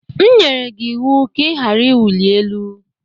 M nyere gị ịwụ ka ị ghara ịwụli elu!